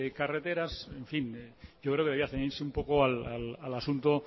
carreteras en fin yo creo que debía ceñirse un poco al asunto